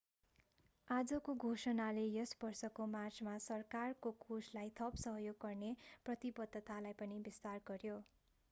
आजको घोषणाले यस वर्षको मार्चमा सरकारको कोषलाई थप सहयोग गर्ने प्रतिबद्धतालाई पनि विस्तार गर्‍यो।